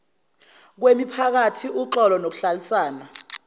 kwemiphakathi uxolo nokuhlalisana